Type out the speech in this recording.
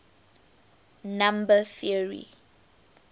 number theory